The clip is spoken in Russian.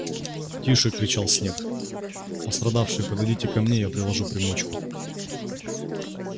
тише кричал снегг пострадавшие подойдите ко мне я приложу примочку